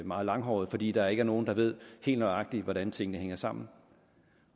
og meget langhåret fordi der ikke er nogen der ved helt nøjagtigt hvordan tingene hænger sammen